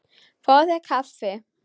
Fáðu þér kaffi.